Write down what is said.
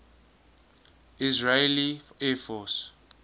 israeli air force